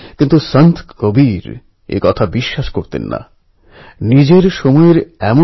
ফুলের সুবাস দিয়ে জয় করতে হবে তলোয়ারকে